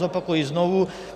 Zopakuji znovu.